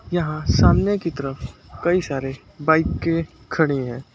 यहां सामने की तरफ कई सारे बाइकें खड़ी हैं।